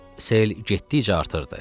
Sel getdikcə artırdı.